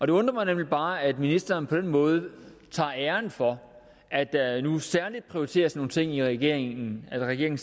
det undrer mig nemlig bare at ministeren på den måde tager æren for at der nu særligt prioriteres nogle ting af regeringen regeringen